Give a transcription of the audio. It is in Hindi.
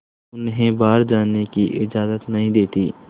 उन्हें बाहर जाने की इजाज़त नहीं देती है